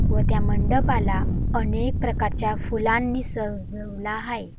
व त्या मंडपाला अनेक प्रकारच्या फुलांनी सजवला हाय.